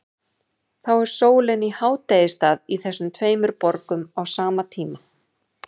Þá er sólin í hádegisstað í þessum tveimur borgum á sama tíma.